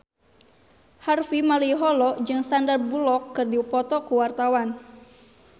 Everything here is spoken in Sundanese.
Harvey Malaiholo jeung Sandar Bullock keur dipoto ku wartawan